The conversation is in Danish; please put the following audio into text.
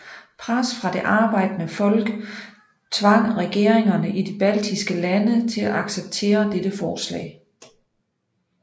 Pres fra det arbejdende folk tvang regeringerne i de baltiske lande til at acceptere dette forslag